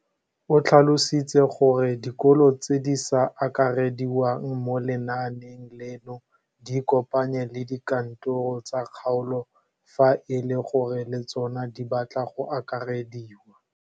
O tlhalositse gore dikolo tse di sa akarediwang mo lenaaneng leno di ikopanye le dikantoro tsa kgaolo fa e le gore le tsona di batla go akarediwa.